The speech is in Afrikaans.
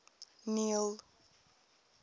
neil